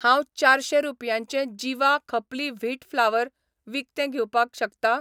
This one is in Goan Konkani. हांव चारशें रुपयांचें जिवा खपली व्हीट फ्लावर विकतें घेवपाक शकता?